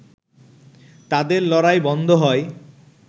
তাদের লড়াই বন্ধ হয়